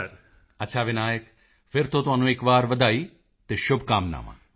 ਮੋਦੀ ਜੀ ਅੱਛਾ ਵਿਨਾਇਕ ਫਿਰ ਤੋਂ ਤੁਹਾਨੂੰ ਇੱਕ ਵਾਰ ਵਧਾਈ ਅਤੇ ਸ਼ੁਭਕਾਮਨਾਵਾਂ